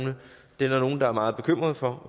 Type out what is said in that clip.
der er meget bekymret for